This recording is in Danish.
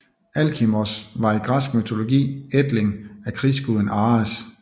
Alkimos var i græsk mytologi ætling af krigsguden Ares